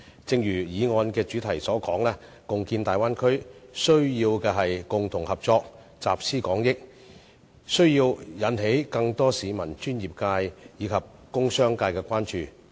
正如議案主題所說，共建大灣區需要的是共同合作，集思廣益，需要引起更多市民、專業界及工商界的關注。